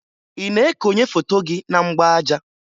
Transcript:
Ị na-ekonye foto gị na mgbaaja?